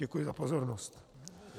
Děkuji za pozornost.